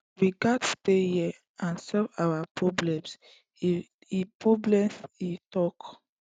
we gatz stay here and solve our problems e problems e tok